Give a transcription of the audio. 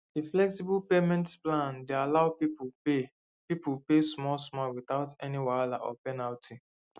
the flexible payment plan dey allow people pay people pay small small without any wahala or penalty